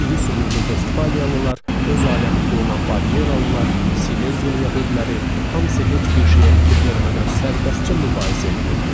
İri sümüklü Vestfaliyalılar, öz aləmində olan Bavariyalilar, Sileziya yəhudiləri, hamısı heç bir şeyə fikir vermədən sərbəstcə mübahisə edirdi.